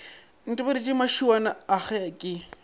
ntebaditše mašuana a ge ke